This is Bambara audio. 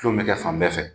Tulon bɛ kɛ fan bɛɛ fɛ